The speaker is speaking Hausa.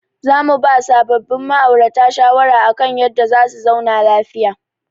Za mu ba sabobbin ma'aurata shawara akan yadda za su zauna lafiya.